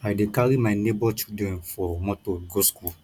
i dey carry my nebor children for motor go skool